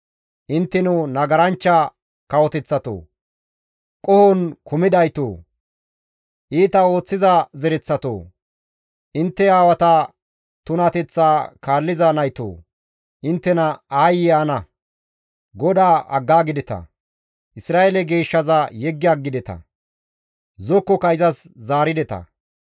Intteno nagaranchcha kawoteththatoo! Qohon kumidaytoo! Iita ooththiza zereththatoo! Intte aawata tunateththaa kaalliza naytoo! Inttena aayye ana! GODAA aggaagideta; Isra7eele geeshshaza yeggi aggideta; zokkoka izas zaarideta.